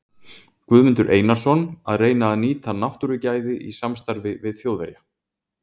Guðmundur Einarsson, að reyna að nýta náttúrugæði í samstarfi við Þjóðverja.